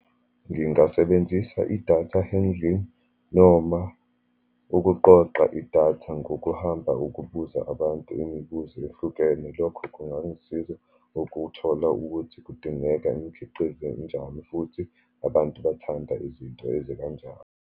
Ngingasebenzisa i-data handling, noma ukuqoqa idatha ngokuhamba ukubuza abantu imibuzo ehlukene. Lokho kungangisiza ukuthola ukuthi kudingeka imikhiqizo enjani, futhi abantu bathanda izinto ezikanjani.